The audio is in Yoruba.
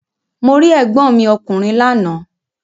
Mo rí ègbọ́n mi ọkùnrin lánàá.